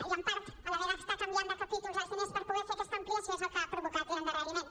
i en part a l’haver d’estar canviant de capítols els diners per poder fer aquesta ampliació és el que ha provocat l’endarreriment